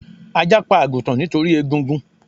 Ajá pa àgùtàn nítorí egungun